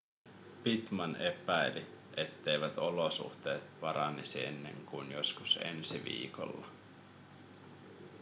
pittman epäili etteivät olosuhteet paranisi ennen kuin joskus ensi viikolla